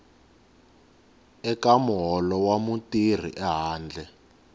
eka muholo wa mutirhi ehandle